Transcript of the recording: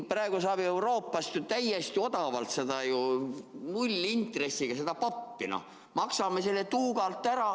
Praegu saab Euroopast ju täiesti odavalt seda nullintressiga pappi, maksame selle tuugalt ära.